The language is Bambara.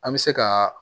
An bɛ se ka